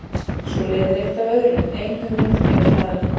Svo leiðir eitt af öðru, ein hugmynd kveikir aðra.